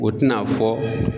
O tɛna fɔ.